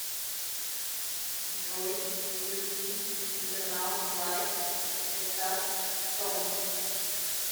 джой включи интернал флайт эстас тон